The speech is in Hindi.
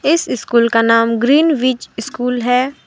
इस स्कूल का नाम ग्रीनव्हिच स्कूल है।